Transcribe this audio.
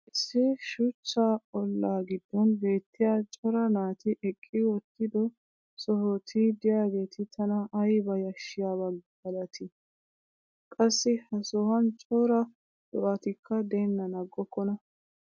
Issi shuchcha olaa giddon beettiya cora naati eqqi wottido sohoti diyaageeti tana ayba yaashiyaaba malatii? Qassi ha sohuwan cora do'atikka deenan aggokona.